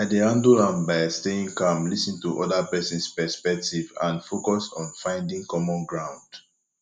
i dey handle am by staying calm lis ten to oda persons perspective and focus on finding common ground